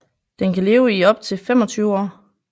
Den kan leve i op til 25 år